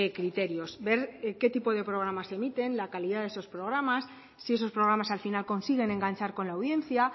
criterios ver qué tipo de programas se emiten la calidad se esos programas si esos programas al final consiguen enganchar con la audiencia